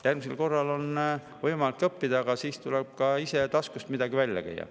Järgmisel korral on ka võimalik õppida, aga siis tuleb oma taskust midagi välja käia.